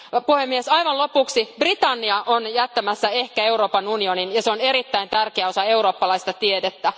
Puhemies, aivan lopuksi Britannia on jättämässä ehkä Euroopan unionin, ja se on erittäin tärkeä osa eurooppalaista tiedettä.